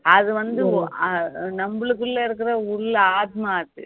அது வந்து நம்மளுக்குள்ள இருக்கிர உள்ள ஆத்துமா அது